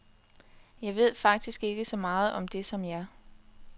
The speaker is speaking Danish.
Jeg ved faktisk ikke så meget om det som jer.